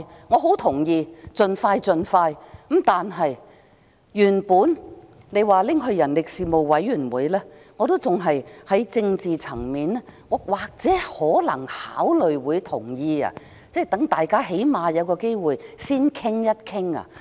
我同意要盡快處理，原本提到交付人力事務委員會審議的建議，我尚且也或會在政治層面考慮同意，讓大家最低限度有機會先作討論。